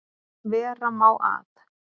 Vera má að